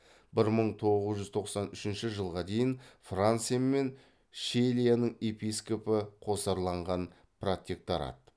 бір мың тоғыз жүз тоқсан үшінші жылға дейін франция мен щелияның епископы қосарланған протекторат